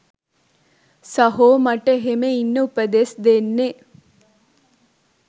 සහෝ මට එහෙම ඉන්න උපදෙස් දෙන්නෙ